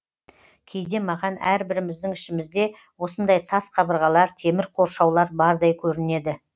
кейде маған әрбіріміздің ішімізде осындай тас қабырғалар темір қоршаулар бардай көрінеді